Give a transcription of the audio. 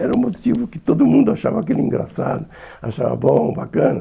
Era um motivo que todo mundo achava aquilo engraçado, achava bom, bacana.